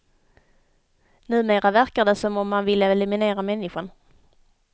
Numera verkar det som om man vill eliminera människan.